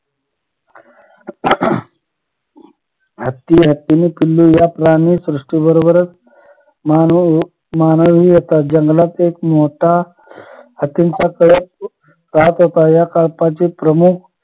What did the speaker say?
हत्ती हत्तिणी पिलू या प्राणी सृष्टीबरोबरच मानव हि एका जंगलात एक मोठा हत्तीचा कळप राहत होता या कळपाचे प्रमुख